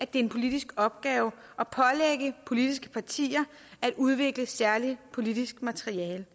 det er en politisk opgave at pålægge politiske partier at udvikle særligt politisk materiale